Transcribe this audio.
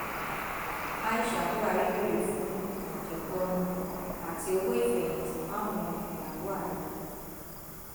aisha buhari béèrè fún àjẹpọnu àti owó ìfẹyìntì fáwọn ìyàwó ààrẹ